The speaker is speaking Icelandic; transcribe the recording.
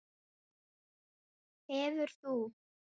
Hefur þú.?